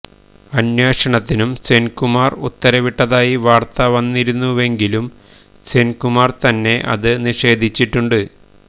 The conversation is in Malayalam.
അന്വേഷണത്തിനും സെന് കുമാര് ഉത്തരവിട്ടതായി വാര്ത്ത വന്നിരുന്നുവെങ്കിലും സെന് കുമാര് തന്നെ ഇതു നിഷേധിച്ചിട്ടുണ്ട്